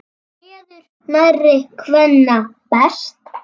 Kveður nærri kvenna best.